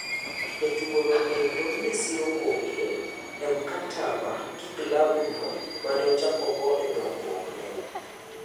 Jatugono endo ne siro koke e mkataba gi klabu ne maneochako go endongruok ne.